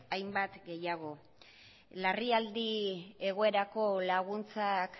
hainbat gehiago larrialdi egoerarako laguntzak